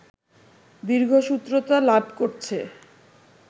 দীর্ঘসূত্রতা লাভ করছে